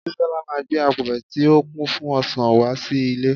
bisola ma gbe apẹrẹ ti o kin fún ọsàn wá sí ilẹ